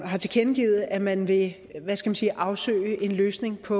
har tilkendegivet at man vil afsøge en løsning på